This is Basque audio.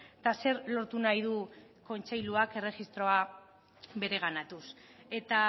eta zer lortu nahi du kontseiluak erregistroa bereganatuz eta